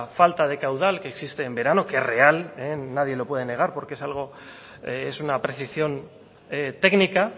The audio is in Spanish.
falta de caudal que existe en verano que es real nadie lo puedo negar porque es algo es una precisión técnica